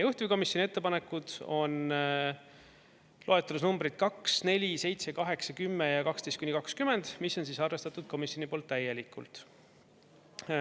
Juhtivkomisjoni ettepanekud on loetelus numbrid 2, 4, 7, 8, 10 ja 12–20, mis on arvestatud komisjoni poolt täielikult.